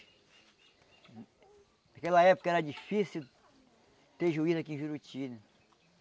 Naquela época era difícil ter juiz aqui em Juruti.